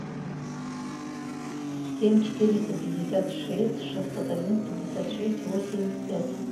семь четыреста пятьдесят шесть шестьсот один пятьдесят шесть восемь пять